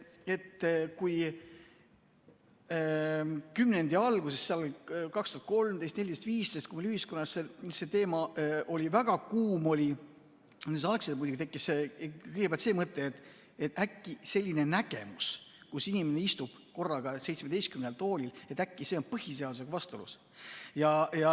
Kui kümnendi alguses, 2013, 2014 või 2015, ühiskonnas see teema väga kuum oli, siis muidugi tekkis kõigepealt see mõte, et äkki selline nägemus, kui inimene istub korraga seitsmeteistkümnel toolil, on põhiseadusega vastuolus.